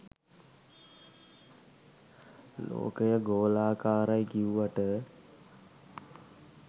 ලෝකය ගොලාකරයි කිව්වට